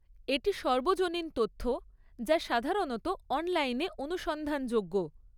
এটি সর্বজনীন তথ্য যা সাধারণত অনলাইনে অনুসন্ধানযোগ্য।